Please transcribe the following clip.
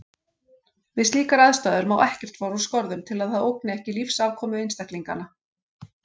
Við slíkar aðstæður má ekkert fara úr skorðum til að það ógni ekki lífsafkomu einstaklinganna.